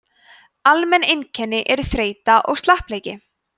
almenn einkenni eru þreyta og slappleiki